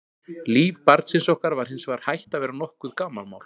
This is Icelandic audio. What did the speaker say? Líf barnsins okkar var hins vegar hætt að vera nokkurt gamanmál.